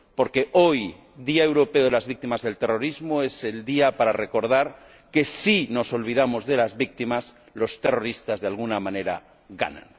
Porque hoy, Día Europeo de las Víctimas del Terrorismo, es el día para recordar que, si nos olvidamos de las víctimas, los terroristas, de alguna manera, ganan.